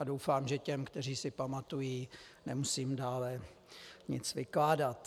A doufám, že těm, kteří si pamatují, nemusím dále nic vykládat.